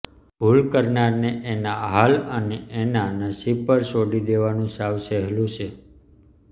ભૂલ કરનારને એના હાલ અને એનાં નસીબ પર છોડી દેવાનું સાવ સહેલું છે